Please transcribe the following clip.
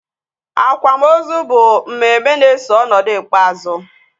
Akwamozu bụ mmemme na-eso ọnọdụ ikpeazụ